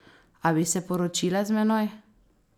A bi se poročila z menoj?